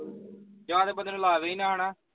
ਜਹਾਂ ਤੇ ਬੰਦੇ ਨੂੰ ਲਾਵੇ ਹੀ ਨਾ ਹੈ ਨਾ